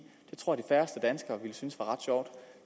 det tror jeg færreste danskere ville synes var ret sjovt